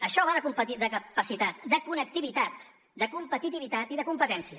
això va de capacitat de connectivitat de competitivitat i de competència